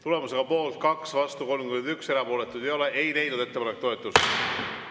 Tulemusega poolt 2, vastuolijaid on 31 ja erapooletuid ei ole, ei leidnud ettepanek toetust.